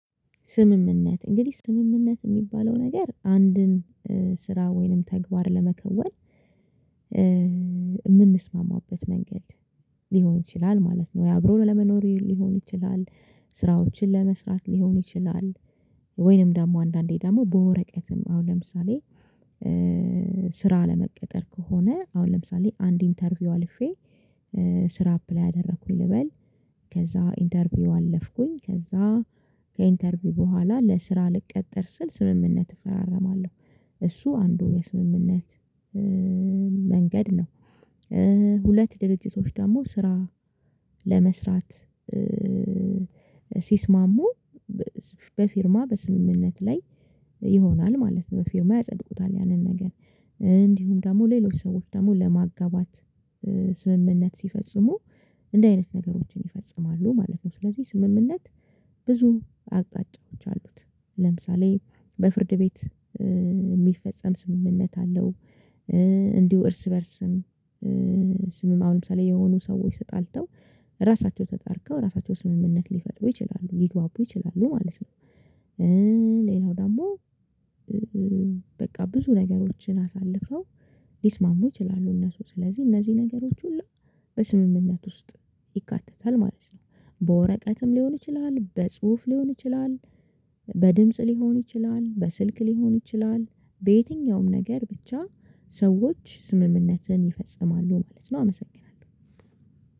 ስምምነት እንግዲህ ስምምነት የሚባለው ነገር አንድን ስራ ወይንም ተግባር ለመከወን የምንስማማበት መንገድ ሊሆን ይችላል ማለት ነው። ወይ አብሮ ለመኖር ሊሆን ይችላል። ስራዎችን ለመስራት ሊሆን ይችላል። ወይንም ደግሞ አንዳንዴ ደግሞ በወረቀትም አሁን ለምሳሌ። ስራ አለመቀጠር ከሆነ አሁን ለምሳሌ አንድ ኢንተርቪው አልፌ ስራ አፕላይ አደረኩኝ ልበል ከዛ ኢንተርቪው አለፍኩኝ ከዛ ከኢንተርቪው በኋላ ለስራ ልቀጠር ስል ስምምነት እፈራርማለሁ። እሱ አንዱ የስምምነት መንገድ ነው። ሁለት ድርጅቶች ደግሞ ስራ ለመስራት ሲስማሙ በፊርማ በስምምነት ላይ ይሆናል ማለት ነው። ፊርማ ያጸድቁታል ያንን ነገር እንዲሁም ደግሞ ሌሎች ሰዎች ደግሞ ለማጋባት ስምምነት ሲፈጽሙ እንዲህ አይነት ነገሮችን ይፈጽማሉ ማለት ነው። ስለዚህ ስምምነት ብዙ አቅጣጫዎች አሉት ለምሳሌ በፍርድ ቤት የሚፈጸም ስምምነት አለው። እንዲሁ እርስ በእርስም ስምም አሁን ለምሳሌ የሆኑ ሰዎች ተጣልተው ራሳቸው ተጣርቀው ራሳቸው ስምምነት ሊፈጥሩ ይችላሉ ሊግባቡ ይችላሉ ማለት ነው። ሌላው ደግሞ በቃ ብዙ ነገሮችን አሳልፈው ሊስማሙ ይችላሉ። እነሱ ስለዚህ እነዚህ ነገሮች ሁሉ በስምምነት ውስጥ ይካተታል ማለት ነው። በወረቀትም ሊሆን ይችላል በጽሁፍ ሊሆን ይችላል። በድምጽ ሊሆን ይችላል በስልክ ሊሆን ይችላል በየትኛውም ነገር ብቻ ሰዎች ስምምነትን ይፈጽማሉ ማለት ነው። አመሰግናለሁ።